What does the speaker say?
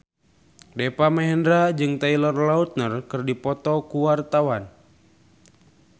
Deva Mahendra jeung Taylor Lautner keur dipoto ku wartawan